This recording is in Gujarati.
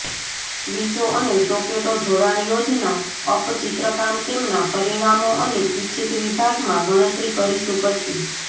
સ્વીચો અને સોકેટો જોડાણ યોજના અપ ચિત્રકામ તેમના પરિમાણો અને ઇચ્છિત વિભાગમાં ગણતરી કરીશું પછી